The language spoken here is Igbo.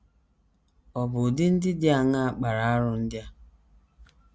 Ọ̀ bụ ụdị ndị dị aṅaa kpara arụ ndị a?